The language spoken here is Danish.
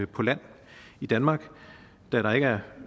på land i danmark da